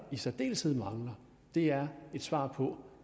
i særdeleshed mangler er et svar på